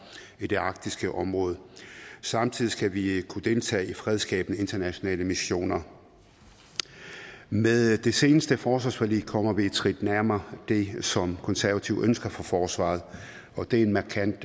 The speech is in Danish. i det arktiske område samtidig skal vi kunne deltage i fredsskabende internationale missioner med det seneste forsvarsforlig kommer vi et skridt nærmere det som konservative ønsker for forsvaret og det er en markant